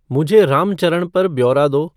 मुझे रामचरन पर ब्यौरा दो